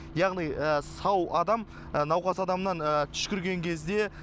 яғни сау адам науқас адамнан түшкірген кезде